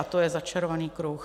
A to je začarovaný kruh.